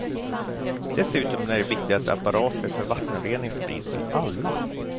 Dessutom är det viktigt att apparater för vattenrening sprids till alla.